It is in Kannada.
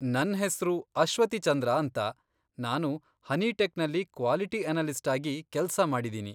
ನನ್ ಹೆಸ್ರು ಅಶ್ವತಿ ಚಂದ್ರ ಅಂತ, ನಾನು ಹನಿಟೆಕ್ನಲ್ಲಿ ಕ್ವಾಲಿಟಿ ಅನಲಿಸ್ಟ್ ಆಗಿ ಕೆಲ್ಸ ಮಾಡಿದ್ದೀನಿ.